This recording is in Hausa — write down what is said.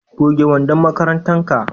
goge wandon makarantar ka!